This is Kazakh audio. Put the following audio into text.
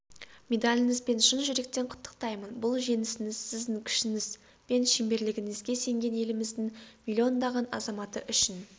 медаліңізбен шын жүректен құттықтаймын бұл жеңісіңіз сіздің күшіңіз бен шеберлігіңізге сенген еліміздің миллиондаған азаматы үшін